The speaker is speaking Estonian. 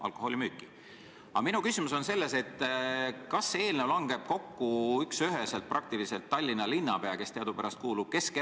Aga minu küsimus on selles, kas see eelnõu langeb üksüheselt kokku Tallinna linnapea soovi ja plaaniga.